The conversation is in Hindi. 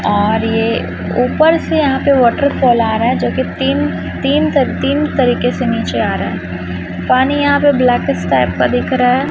और ये ऊपर से यहां पे वॉटरफॉल आ रहा है जो कि तीन तीन तक तीन तरीके से नीचे आ रहा है पानी यहां पे ब्लैकिश टाइप का दिख रहा है।